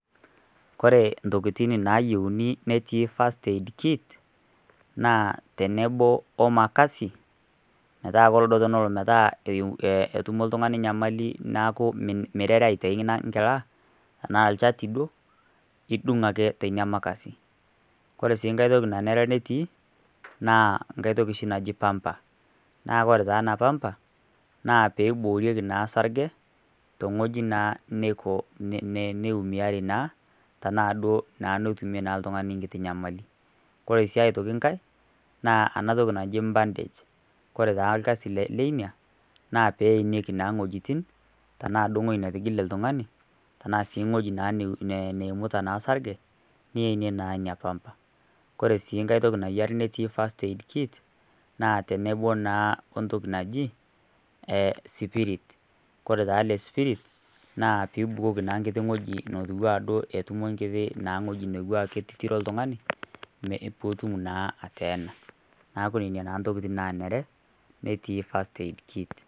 Koree intokitin nayieuni netii First Aid Kit, naa tenebo wemakasi, metaa duo tenelo metaa enoto oltung'ani enyamali niaku miarare aitau enkila, iidung' aake teina makasi enaa lchati duo iidung aake teilo makasi. Koree sii nkae toki naare natii naa nkae toki naaaji pamba naa koore taa eena pamba, naa pee eibooriki osarge, tewueji naa neimiau naa, tenaa duo netumie naa oltung'ani nkitii nyamali. Koree sii aitoki nkae naa eena toki naaji bandage koree taa irkasi leina naa keyie eenieki naa iwuejitin neimiate oltung'ani tenaa otigile, tenaa naa wueji naa neimuita naa orsarge, niyenie naa iina kamba. Koree sii enkae toki natii First Aid Kit naa teneb naa entoki naaji spirit. Koree taa iile spirit naa peyie eibukoki naa ibukoki naa ewueji naa iijo etotiro oltung'ani, peetum naa ateena. Niaku nena naa intokitin nanare netii First Aid Kit.